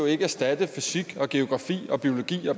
ikke erstatte fysik geografi biologi og